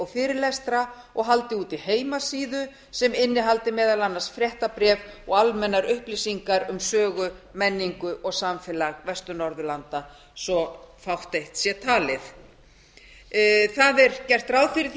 fyrirlestra og haldi úti heimasíðu sem innihaldi meðal annars fréttabréf og almennar upplýsingar um sögu menningu og samfélag vestur norðurlanda svo fátt sé talið gert er ráð fyrir